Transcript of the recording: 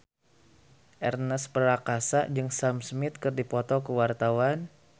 Ernest Prakasa jeung Sam Smith keur dipoto ku wartawan